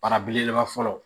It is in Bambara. Bara belebeleba fɔlɔ